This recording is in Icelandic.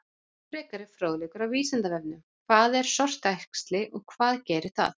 Frekari fróðleikur á Vísindavefnum: Hvað er sortuæxli og hvað gerir það?